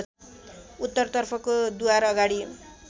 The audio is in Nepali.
उत्तरतर्फको द्वारअगाडि